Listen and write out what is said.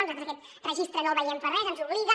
nosaltres aquest registre no el veiem per res ens obliga